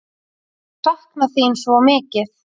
Ég sakna þín svo mikið.